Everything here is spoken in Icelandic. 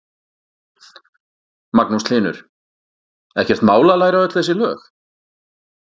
Magnús Hlynur: Ekkert mál að læra öll þessi lög?